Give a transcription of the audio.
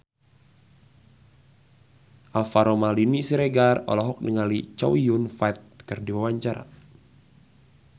Alvaro Maldini Siregar olohok ningali Chow Yun Fat keur diwawancara